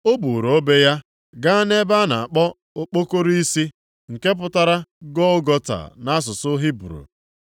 O buuru obe ya gaa nʼebe a na-akpọ Okpokoro Isi (nke pụtara Gọlgọta nʼasụsụ Hibru).